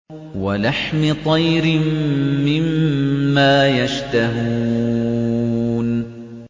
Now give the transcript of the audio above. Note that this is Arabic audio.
وَلَحْمِ طَيْرٍ مِّمَّا يَشْتَهُونَ